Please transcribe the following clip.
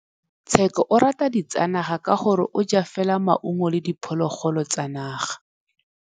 Tshekô o rata ditsanaga ka gore o ja fela maungo le diphologolo tsa naga.